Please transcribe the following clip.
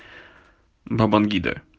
бабангида